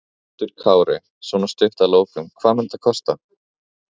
Höskuldur Kári: Svona stutt að lokum, hvað mun þetta kosta?